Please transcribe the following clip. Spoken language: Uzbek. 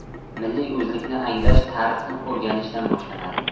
Milliy o‘zlikni anglash tarixni o‘rganishdan boshlanadi.